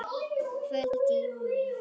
Kvöld í júní.